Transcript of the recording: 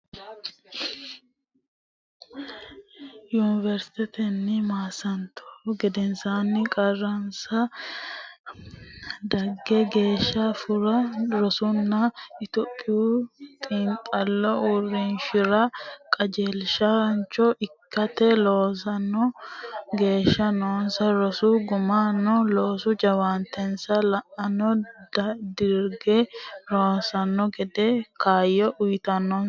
Yuniversitetenni maasantuhu gedensaanni qarqarase dagge geeshsha Furra Rosunna Lophote Xiinxallo Uurrishira qajeelshaancho ikkite loossino geeshsha noose rosu guminna loosu jawaantese la ne digire rossanno gede kaayyo uynoonnise.